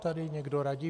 - tady někdo radí.